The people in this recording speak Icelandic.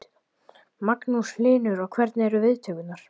Magnús Hlynur: Og hvernig eru viðtökurnar?